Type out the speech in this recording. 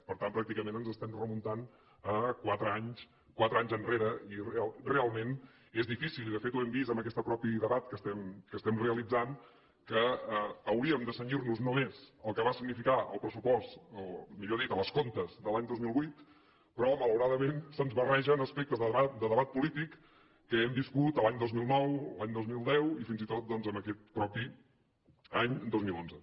per tant pràcticament ens estem remuntant a quatre anys quatre anys enrere i realment és difícil i de fet ho hem vist en aquest mateix debat que estem realitzant que hauríem de cenyir nos només al que va significar el pressupost o millor dit als comptes de l’any dos mil vuit però malauradament se’ns barregen aspectes de debat polític que hem viscut l’any dos mil nou l’any dos mil deu i fins i tot en aquest mateix any dos mil onze